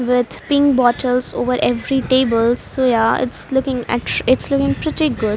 With pink bottles over every table. So yeah its looking att its looking pretty good.